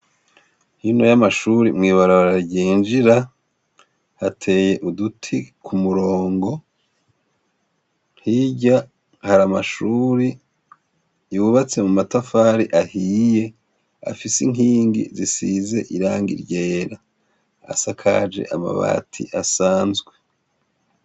Hino y'amashure mw' ibarabara ryinjira, hateye uduti ku murongo ,hirya hari amashuri yubatse mu matafari ahiye afise inkingi zisize irangi ryera .Asakaje amabati asanzwe .